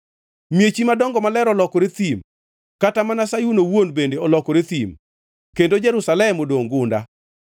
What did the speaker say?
Miechi madongo maler olokore thim, kata mana Sayun owuon bende olokore thim, kendo Jerusalem odongʼ gunda.